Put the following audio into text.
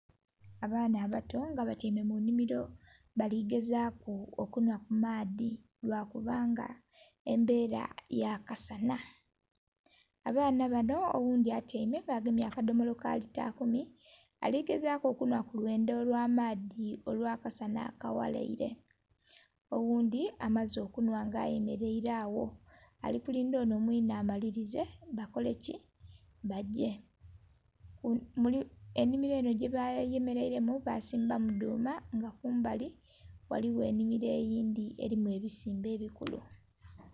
Abaana abato nga batyaime mu nnhimilo bali gezaaku okunhwa ku maadhi, lwa kubanga embeela ya kasanha. Abaana banho oghundhi atyaime agemye akadhomolo ka lita kumi, ali gezaaku okunhwa ku lwendho lwa amaadhi olwa kasanha akaghalaire. Oghundhi amaze okunhwa nga ayemeleile agho ali kulindha onho mwine amalilize, bakoleki? bagye. Ennhimilo enho gye bayemeleilemu basimbamu dhuuma nga kumbali waliwo ennhimilo eyindhi elimu ebisimbe ebikulu.